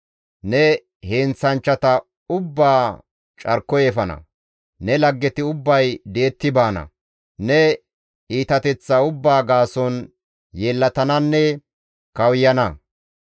Ne heenththanchchata ubbaa carkoy efana; ne laggeti ubbay di7etti baana; ne iitateththaa ubbaa gaason yeellatananne kawuyana.